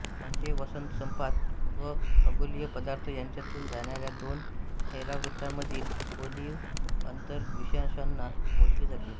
म्हणजे वसंतसंपात व खगोलीय पदार्थ यांच्यातून जाणाऱ्या दोन होरावृत्तांमधील कोनीय अंतर विषुवांशाने मोजले जाते